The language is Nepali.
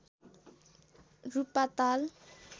रूपाताल